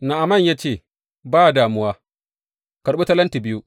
Na’aman ya ce, Ba damuwa, karɓi talenti biyu.